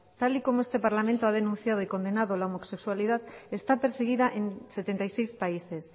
tal y como este parlamento ha denunciado y condenado la homosexualidad está perseguida en setenta y seis países